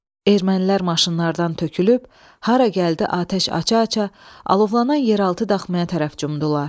Ermənilər maşınlardan tökülüb hara gəldi atəş aça-aça alovlanan yeraltı daxmaya tərəf cumdular.